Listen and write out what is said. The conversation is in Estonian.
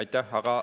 Aitäh!